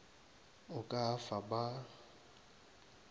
o ka a fa ba